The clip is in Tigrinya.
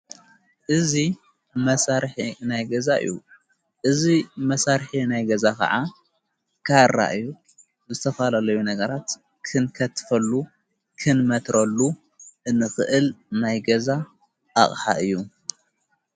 እዙ መሣርሕ ናይ ገዛ እዩ እዙይ መሣርሕ ናይ ገዛ ኸዓ ካራ እዩ ብስተፋላለዩ ነገራት ክንከትፈሉ ኽንመትረሉ እንኽእል ናይገዛ ኣቕሓ እዩ::